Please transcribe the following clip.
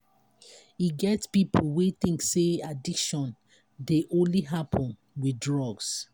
e get pipo wey think say addiction dey only happen with drugs.